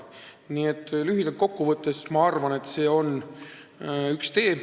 Nii et lühidalt kokku võttes ma arvan, et see on üks tee.